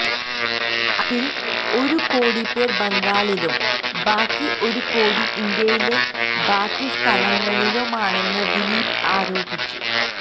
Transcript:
അതില് ഒരു കോടി പേര് ബംഗാളിലും ബാക്കി ഒരു കോടി ഇന്ത്യയിലെ ബാക്കി സ്ഥലങ്ങളിലമാണെന്ന് ദിലീപ് ആരോപിച്ചു